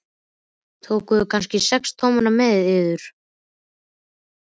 Tókuð þér kannski sex tommuna með yður?